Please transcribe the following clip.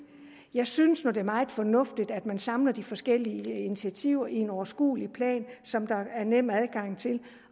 jeg synes nu det er meget fornuftigt at man samler de forskellige initiativer i en overskuelig plan som der er nem adgang til